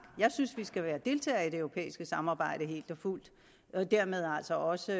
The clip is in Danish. jeg synes vi skal være deltager i det europæiske samarbejde helt og fuldt og dermed altså også